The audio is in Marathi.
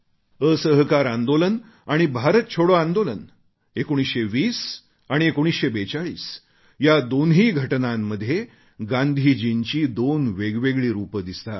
असहकार आंदोलन आणि भारत छोडो आंदोलन 1920 आणि 1942 या दोन्ही घटनांमध्ये गांधीजींची दोन वेगवेगळी रूपे दिसतात